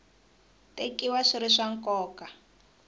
tekiwa swi ri swa nkoka